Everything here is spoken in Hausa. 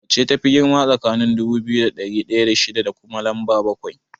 Wacce tafi girma tsakaniin dubu biyu da ɗari ɗaya da shida da kuma lamba bakwai?